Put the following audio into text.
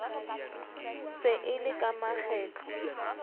se e le ka makgetlo